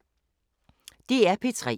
DR P3